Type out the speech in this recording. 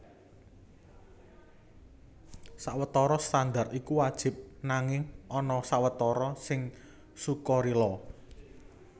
Sawetara standar iku wajib nanging ana sawetara sing sukarila